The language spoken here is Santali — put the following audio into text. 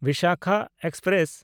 ᱵᱤᱥᱟᱠᱷᱟ ᱮᱠᱥᱯᱨᱮᱥ